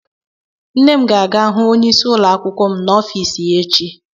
Nne m ga-aga hụ onyeisi ụlọ akwụkwọ m n'ọfiisi ya echi.